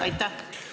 Aitäh!